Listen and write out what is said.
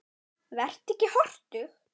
Vertu ekki hortug.